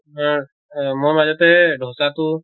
আহ আহ মই মাজতে ধʼচাটো